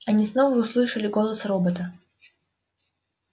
они снова услышали голос робота